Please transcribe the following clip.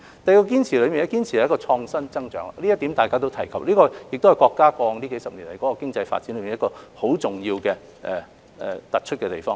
第二個堅持是堅持創新增長，這點大家都有提及，亦是國家過往數十年經濟發展中一個相當重要、突出的地方。